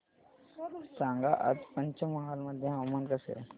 सांगा आज पंचमहाल मध्ये हवामान कसे आहे